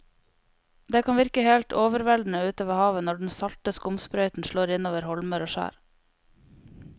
Det kan virke helt overveldende ute ved havet når den salte skumsprøyten slår innover holmer og skjær.